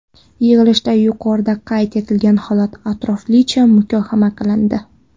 Yig‘ilishda yuqorida qayd etilgan holat atroflicha muhokama qilindi.